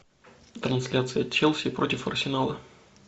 трансляция челси против арсенала